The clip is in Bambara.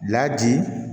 Laji